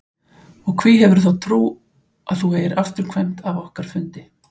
Og hví hefurðu þá trú að þú eigir afturkvæmt af okkar fundi?